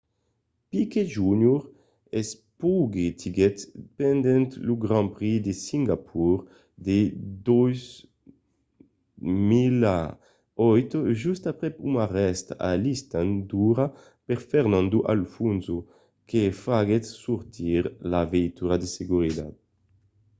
piquet jr. s'espotiguèt pendent lo grand prix de singapor de 2008 just aprèp un arrèst a l'stand d'ora per fernando alonso que faguèt sortir la veitura de seguretat